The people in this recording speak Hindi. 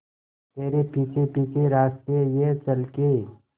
तेरे पीछे पीछे रास्ते ये चल के